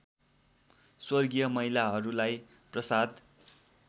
स्वर्गीय महिलाहरूलाई प्रसाद